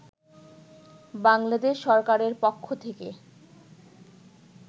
বাংলাদেশ সরকারের পক্ষ থেকে